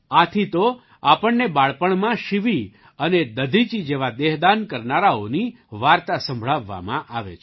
આથી તો આપણને બાળપણમાં શિવિ અને દધીચિ જેવા દેહદાન કરનારાઓની વાર્તા સંભળાવવામાં આવે છે